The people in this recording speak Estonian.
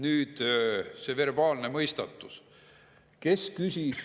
Nüüd see verbaalne mõistatus.